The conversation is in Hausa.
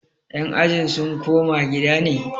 yan ajin sun koma gida ne?